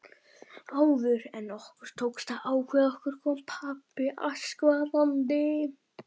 Áður en okkur tókst að ákveða okkur kom pabbi askvaðandi.